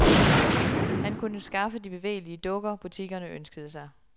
Han kunne skaffe de bevægelige dukker, butikkerne ønskede sig.